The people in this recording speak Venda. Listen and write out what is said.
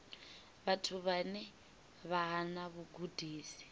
vhathu vhane vha hana vhugudisi